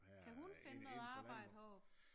Kan hun finde noget arbejde heroppe?